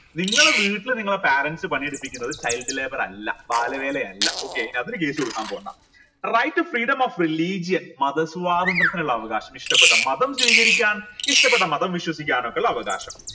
നിങ്ങള വീട്ടിൽ നിങ്ങളെ parents പണിയെടുപ്പിക്കുന്നത് child labour അല്ല ബാല വേല അല്ല okay അതിന് case കൊടുക്കാൻ പോണ്ട right to freedom of religion മതസ്വാതന്ത്ര്യത്തിനുള്ള അവകാശം ഇഷ്ടപ്പെട്ട മതം സ്വീകരിക്കാൻ ഇഷ്ടപ്പെട്ട മതം വിശ്വസിക്കാനോക്കിള്ള അവകാശം